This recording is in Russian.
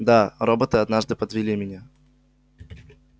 да роботы однажды подвели меня